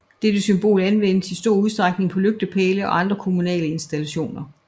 Dette symbol anvendes i stor udstrækning på lygtepæle og andre kommunale installationer